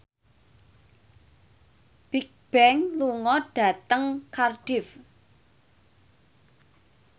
Bigbang lunga dhateng Cardiff